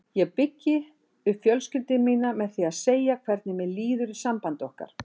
Ég byggi upp fjölskyldu mína með því að segja hvernig mér líður í sambandi okkar.